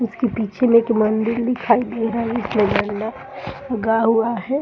इसके पीछे में एक मंदिर दिखाई दे रहा है उगा हुआ है।